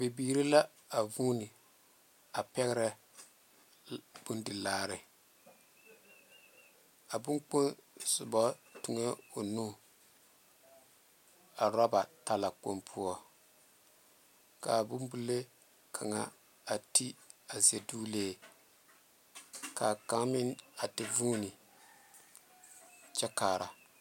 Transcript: Bebiri la a vune a are pɛŋera boma bondi laare a boŋkpoŋ soba are toŋɛ o nu a oreba taalakpoŋ poɔ ka bon bilee kaŋ are teé a dazulee kyɛ ka kaŋa meŋ te are fone a kyɛ are kaare.